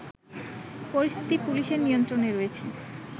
পরিস্থিতি পুলিশের নিয়ন্ত্রণে রয়েছে